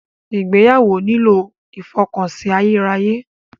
Ìgbéyàwó nílò ìfọkànsìn ayérayé.